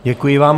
Děkuji vám.